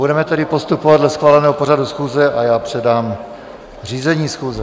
Budeme tedy postupovat dle schváleného pořadu schůze a já předám řízení schůze.